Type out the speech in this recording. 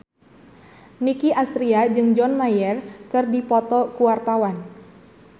Nicky Astria jeung John Mayer keur dipoto ku wartawan